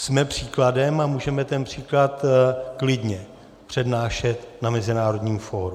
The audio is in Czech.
Jsme příkladem a můžeme ten příklad klidně přednášet na mezinárodním fóru.